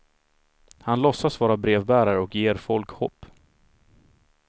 Han låtsas vara brevbärare och ger folk hopp.